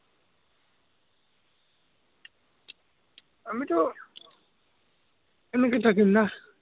আমিতো এনেকে থাকিম নাঃ